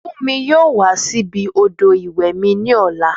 Fúnmi yóò wá síbi odò ìwẹ̀ mi ní ọ̀la